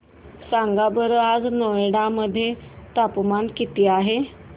सांगा बरं आज नोएडा मध्ये तापमान किती आहे